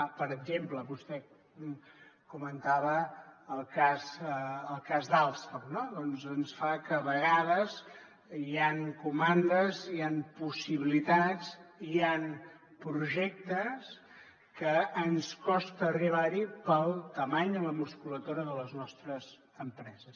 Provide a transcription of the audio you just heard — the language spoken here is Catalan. per exemple vostè comentava el cas d’alstom no doncs ens fa que a vegades hi han comandes hi han possibilitats hi han projectes que ens costa arribar hi per la dimensió o la musculatura de les nostres empreses